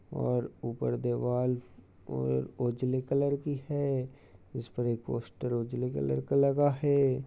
और ऊपर दीवाल (दीवार) उजले कलर की है| उस पर एक पोस्टर उजले कलर का लगा है।